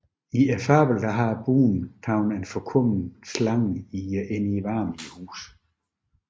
I fablen har bonden taget en forkommen slange i varmen i huset